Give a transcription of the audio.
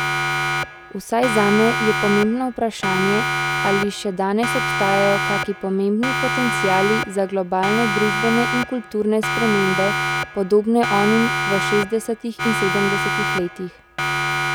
Vsaj zame je pomembno vprašanje, ali še danes obstajajo kaki pomembni potenciali za globalne družbene in kulturne spremembe, podobne onim v šestdesetih in sedemdesetih letih.